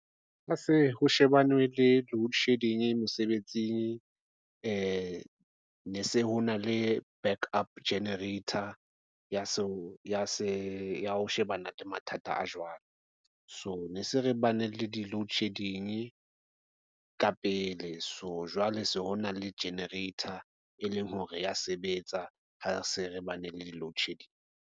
Ho se ho shebane le loadshedding mosebetsing ne se ho na le backup generator ya ho shebana le mathata a jwalo, so ne se re bane le di-loadshedding ka pele so jwale se ho na le generator, e leng hore ya sebetsa ha se re bane le di-loadshedding.